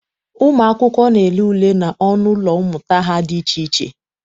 Ụmụ akwụkwọ na-ele ule n'ọnụ ụlọ mmụta ha dị iche iche.